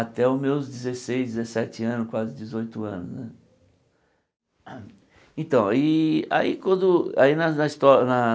até os meus dezesseis, dezessete anos, quase dezoito anos né. Então aí aí quando aí na histó na